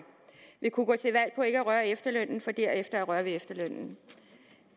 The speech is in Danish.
vil kunne gå til valg på ikke at røre ved efterlønnen for derefter at røre ved efterlønnen